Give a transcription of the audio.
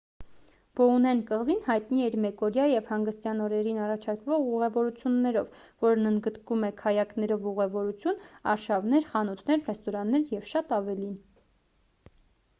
բոուեն կղզին հայտնի է իր մեկօրյա և հանգստյան օրերին առաջարկվող ուղևորություններով որն ընդգրկում է քայակներով ուղևորություն արշավներ խանութներ ռեստորաններ և շատ ավելին